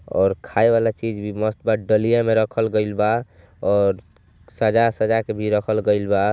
और खाए वाले चीज भी मसतबा डालिये में रखल गईलबा और सजा सजा के भी रखल गईलबा।